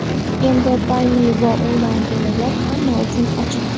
Endi Payme va onlayn to‘lovlar hamma uchun ochiq!